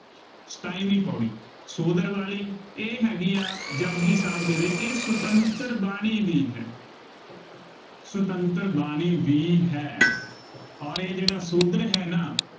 ਸਤਾਈ ਵੀਂ ਪੌੜੀ, ਸੋ ਦਰ ਵਾਲੀ, ਇਹ ਹੈਗੀ ਹੈ ਜਪੁਜੀ ਸਾਹਿਬ ਦੇ ਵਿੱਚ, ਇਹ ਸੁਤੰਤਰ ਬਾਣੀ ਵੀ ਹੈ। ਸੁਤੰਤਰ ਬਾਣੀ ਵੀ ਹੈ। ਅੋਰ ਇਹ ਜਿਹੜਾ ਸੋਦਰ ਹੈ ਨਾ